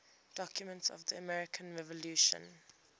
documents of the american revolution